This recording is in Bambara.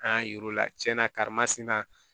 An y'a yir'u la tiɲɛna karima sina